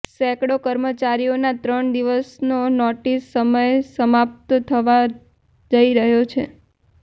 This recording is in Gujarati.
સેંકડો કર્મચારીઓનો ત્રણ દિવસનો નોટિસ સમય સમાપ્ત થવા જઈ રહ્યો છે